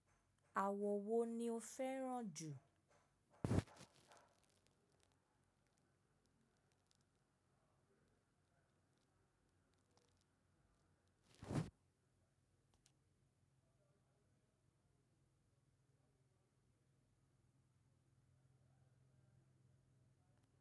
Àwọn wo ni o fẹ́ràn jù?